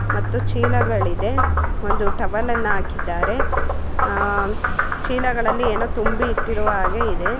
ಮತ್ತು ಚೀಲಗಳಿದೆ ಒಂದು ಟವೆಲ್ ನ್ನು ಹಾಕಿದ್ದಾರೆ ಆ ಆ ಚೀಲಗಳಲ್ಲಿ ಏನೋ ತುಂಬಿ ಇಟ್ಟಿರುವ ಹಾಗೆ ಇದೆ .